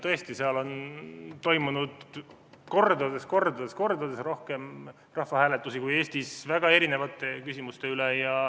Tõesti, seal on toimunud mitu korda rohkem rahvahääletusi kui Eestis, väga erinevate küsimuste üle.